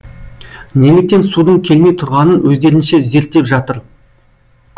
неліктен судың келмей тұрғанын өздерінше зерттеп жатыр